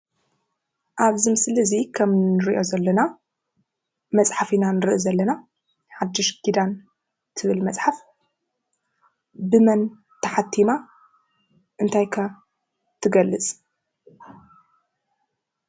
ኣብዚ ስእሊ እዙይ ከም እንሪኦ ዘለና መፅሓፍ ኢና ንሪኢ ዘለና። ሓዱሽ ኪዳን እትብል መፅሓፍ ብመን ተሓቲማ እንታይ ከ እትገልፅ?